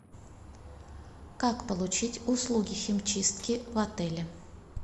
как получить услуги химчистки в отеле